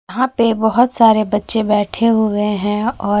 यहाँ पे बहोत सारे बच्चे बैठे हुए है और --